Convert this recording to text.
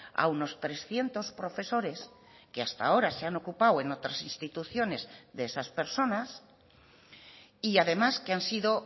a unos trescientos profesores que hasta ahora se han ocupado en otras instituciones de esas personas y además que han sido